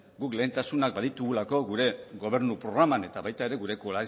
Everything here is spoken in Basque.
guk lehentasunak baditugulako gure gobernu programan eta baita ere